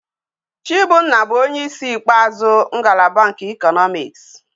Chibunna bu onye isi ikpeazu ngalaba nke Economics